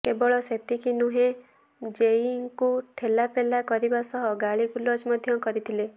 କେବଳ ସେତକି ନୁହେଁ ଜେଇଇଙ୍କୁ ଠେଲାପେଲା କରିବା ସହ ଗାଳିଗୁଲଜ ମଧ୍ୟ କରିଥିଲେ